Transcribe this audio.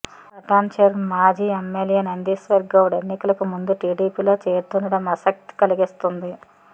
పటాన్చెరువు మాజీ ఎమ్మెల్యే నందీశ్వర్ గౌడ్ ఎన్నికలకు ముందు టీడీపీలో చేరుతుండటం ఆసక్తి కలిగిస్తోంది